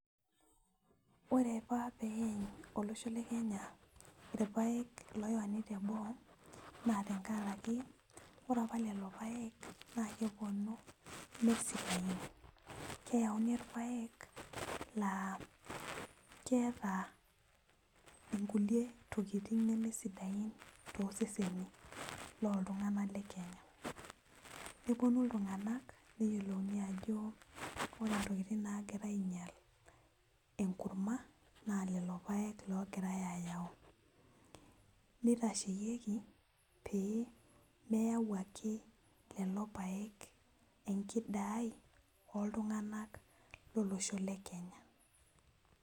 Ore apa peeny olosho le kenya irpayek loyauni teboo naa tenkaraki ore apa lelo payek naa keponu mesidain keyauni irpayek laa keeta inkulie tokiting neme sidain toseseni loltung'anak le kenya neponu iltung'anak neyiolouni ajo ore intokiting nagira ainyial enkurma naa lelo payek logirae ayau nitasheyieki pee meyau ake lelo payek enkidai oltung'anak lolosho le kenya.